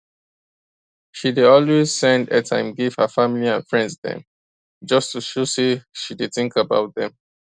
she dey always send airtime give her family and friends dem just to show say she dey think about dem